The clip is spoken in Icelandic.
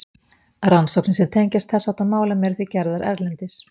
Rannsóknir sem tengjast þess háttar málum eru því gerðar erlendis.